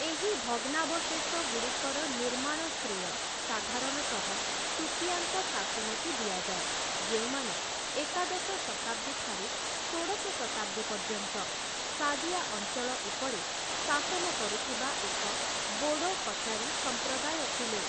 ଏହି ଭଗ୍ନାବଶେଷଗୁଡ଼ିକର ନିର୍ମାଣ ଶ୍ରେୟ ସାଧାରଣତଃ ଶୁତୀୟାଙ୍କ ଶାସନକୁ ଦିଆଯାଏ, ଯେଉଁମାନେ ଏକାଦଶ ଶତାବ୍ଦୀ ଠାରୁ ଷୋଡ଼ଶ ଶତାବ୍ଦୀ ପର୍ଯ୍ୟନ୍ତ ସାଦିଆ ଅଞ୍ଚଳ ଉପରେ ଶାସନ କରୁଥିବା ଏକ ବୋଡ଼ୋ କଚାରୀ ସଂପ୍ରଦାୟ ଥିଲେ ।